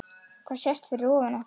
Hvað sést fyrir ofan okkur?